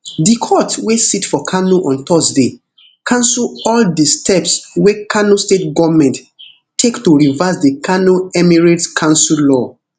di court wey sit for kano on thursday cancel all di steps wey kano state goment take to reverse di kano emirates council law